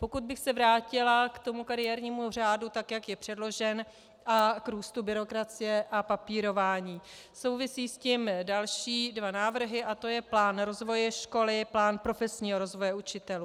Pokud bych se vrátila k tomu kariérnímu řádu, tak jak je předložen, a k růstu byrokracie a papírování, souvisí s tím další dva návrhy, a to je plán rozvoje školy, plán profesního rozvoje učitelů.